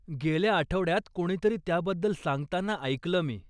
गेल्या आठवड्यात कोणीतरी त्याबद्दल सांगताना ऐकलं मी.